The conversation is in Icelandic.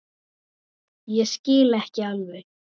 Ég skil ekki alveg